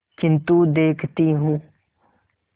किन्तु देखती हूँ